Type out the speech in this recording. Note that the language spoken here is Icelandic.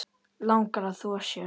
Langar að þvo sér.